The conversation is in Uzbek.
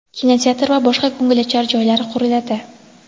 kinoteatr va boshqa ko‘ngilochar joylar quriladi.